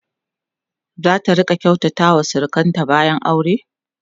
zata rinƙa kyautata wa surukanta bayan aure?